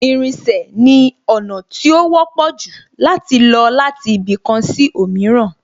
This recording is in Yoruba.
Ìrìnsẹ̀ sì ni ọ̀nà tó wọ́pọ̀ jù láti lọ láti ibì kan sí òmíràn